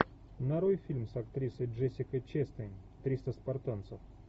нарой фильм с актрисой джессикой честейн триста спартанцев